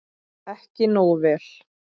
Ekki nógu vel.